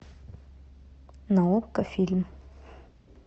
на окко фильм